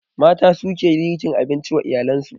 Mata suke girkin abinci wa iyalen su